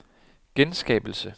genskabelse